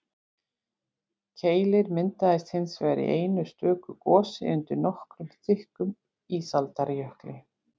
keilir myndaðist hins vegar í einu stöku gosi undir nokkuð þykkum ísaldarjökli